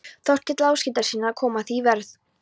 Þórkeli Áshildarsyni, að koma því í verð.